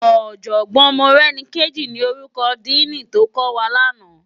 Òjògbòn Morenike ni órúkò dìní tókòwá làná